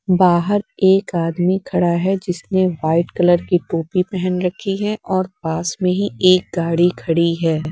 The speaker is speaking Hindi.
बाहर एक आदमी खड़ा है जिसने व्हाइट कलर की टोपी पहन रखी हैं और पास में ही एक गाड़ी खड़ी है।